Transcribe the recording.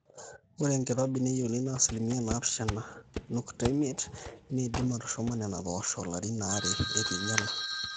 ore enkirobi neyieuni naa 7.5% niindim atushuma nena poosho ilarin aare eitu einyala